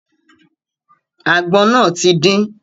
Àgbọn náà ti din.